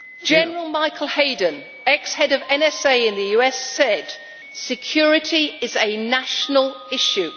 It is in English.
General Michael Hayden, ex head of the NSA in the US, said security is a national issue.